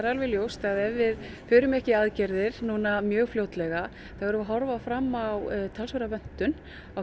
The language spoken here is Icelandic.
alveg ljóst að ef við förum ekki í aðgerðir núna mjög fljótlega þá erum við að horfa fram á talsverða vöntun á